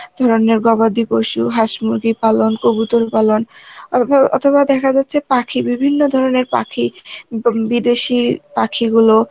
গবাদি পশু, হাঁস-মুরগি পালন কবুতর পালন অথবা দেখা যাচ্ছে পাখি, বিভিন্ন ধরনের পাখি উম বম~ বিদেশি পাখিগুলো